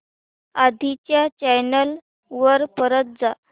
आधी च्या चॅनल वर परत जा